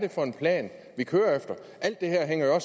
for en plan vi kører efter alt det her hænger jo